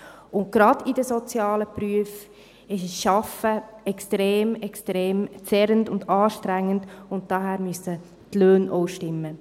Und gerade in den sozialen Berufen ist ein Arbeiten extrem, extrem zehrend und anstrengend, und von daher müssen die Löhne auch stimmen.